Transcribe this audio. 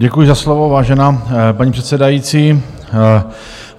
Děkuji za slovo, vážená paní předsedající.